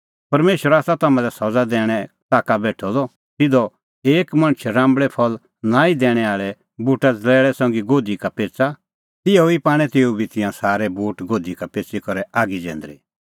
परमेशर आसा तम्हां लै सज़ा दैणें ताका बेठअ द ज़िहअ एक मणछ राम्बल़ै फल़ नांईं दैणैं आल़ै बूटा ज़लैल़ै संघी गोधी का पेच़ा तिहै ई पाणै तेऊ बी तिंयां सारै बूट गोधी का पेच़ी करै आगी जैंदरी